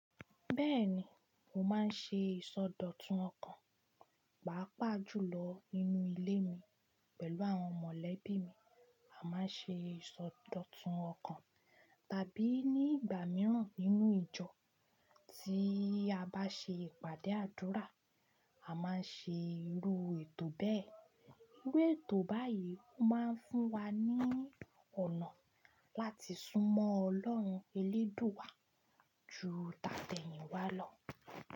Bẹ́ẹ̀ni, mo máa ń ṣe ìsọdọ̀tun ọkàn, pàápàá jùlọ nínú ilé mi pẹ̀lú àwọn mọ̀lẹ́bí mi. A máa ń ṣe ìsọdọ̀tun ọkàn tàbí ní ìgbà mìíràn nínú ìjọ tí a bá ṣe ìpàdé àdúrà. A máa ń ṣe irú ètò bẹ́ẹ̀. Irú ètò báyìí máa ń fún wa ní ọ̀nà láti súnmọ́ Ọlọ́run elédùúwa ju tátẹ̀yìnwá lọ.